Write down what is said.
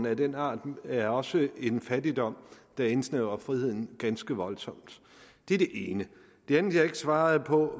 af den art er også en fattigdom der indsnævrer friheden ganske voldsomt det er det ene det andet jeg ikke svarede på